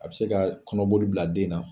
A bɛ se ka kɔnɔboli bila den na